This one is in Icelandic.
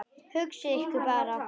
Hugsið ykkur bara!